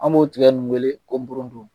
An b'o tigɛ nin weele ko boronto.